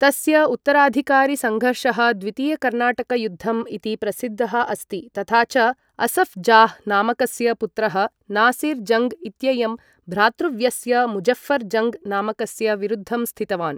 तस्य उत्तराधिकारसंघर्षः द्वितीय कर्नाटक युद्धम् इति प्रसिद्धः अस्ति, तथा च असफ् जाह् नामकस्य पुत्रः नासिर् जङ्ग् इत्ययं भ्रातृव्यस्य मुज़ऴ्ऴर् जङ्ग् नामकस्य विरुद्धम् स्थितवान्।